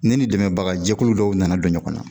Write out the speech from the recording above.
Ne ni dɛmɛbaga jɛkulu dɔw nana don ɲɔgɔn na